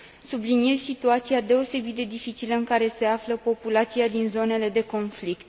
Subliniez situația deosebit de dificilă în care se află populația din zonele de conflict.